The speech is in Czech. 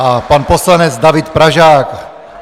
A pan poslanec David Pražák.